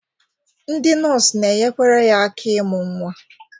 Ndị nọọsụ na-enyekwere ya aka ịmụ nwa.